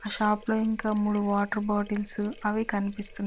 ఆ షాప్ లో ఇంకా మూడు వాటర్ బోట్ల్స్ అవి కూడా కనిపిస్తున్నాయి